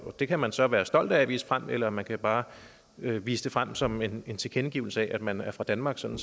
det kan man så være stolt af at vise frem eller man kan bare vise det frem som en tilkendegivelse af at man er fra danmark sådan